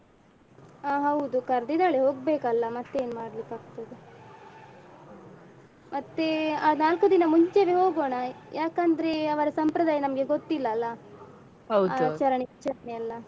ಆ ಹೌದು ಕಾರ್ದ್ದಿದ್ದಾಳೆ ಹೋಗ್ಬೇಕಲ್ಲಾ ಮತ್ತೇನ್ ಮಾಡ್ಲಿಕ್ಕಾಗ್ತದೆ. ಮತ್ತೇ ಆ ನಾಲ್ಕು ದಿನ ಮುಂಚೆವೆ ಹೋಗೋಣ ಯಾಕಂದ್ರೇ ಅವರ ಸಂಪ್ರದಾಯ ನಮ್ಗೆ ಗೊತ್ತಿಲ್ಲಲ್ಲಾ ಹೌದು ಹೌದು. ಆಚರಣೆ ವಿಚಾರಣೆ ಎಲ್ಲ.